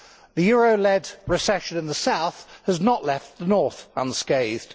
The euro led recession in the South has not left the North unscathed.